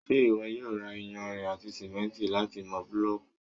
ṣé ìwọ yóò ra iyanrìn àti sìmẹ́ntì láti mọ búlọ̀kù?